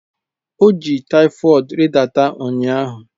O ji typhoid ridata ụnyaahụ